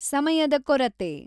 ಸಮಯದ ಕೊರತೆ